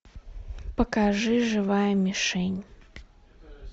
покажи живая мишень